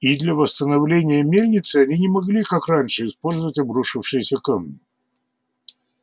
и для восстановления мельницы они не могли как раньше использовать обрушившиеся камни